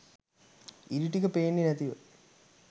ඉරි ටික පේන්නෙ නැතිව